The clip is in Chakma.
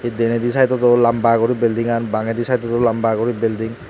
hee denedi side dod o lamba guri building gan bangendi side dod o lamba guri building.